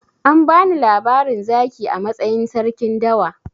An bani labarin zaki a matsayin sarkin dawa.